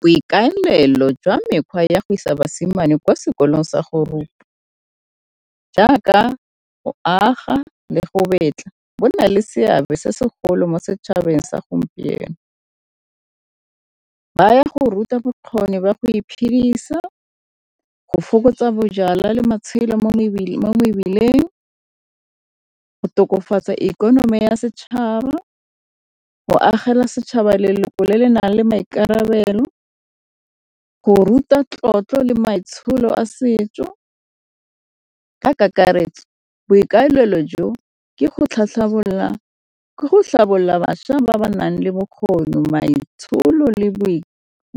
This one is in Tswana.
Boikaelelo jwa mekgwa ya go isa basimane kwa sekolong sa go rupa jaaka go aga le go betla, go na le seabe se segolo mo setšhabeng sa gompieno. Ba ya go ruta bokgoni ba go iphidisa, go fokotsa bojalwa le matshelo mo mebileng, go tokafatsa ikonomi ya setšhaba, go agela setšhaba leloko le le nang le maikarabelo, go ruta tlotlo le maitsholo a setso. Ka kakaretso boikaelelo jo ke go tlhabolola bašwa ba ba nang le bokgoni, maitsholo, le